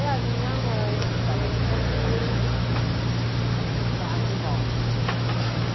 E a minha mãe, que estava na plateia, quase morre. Nossa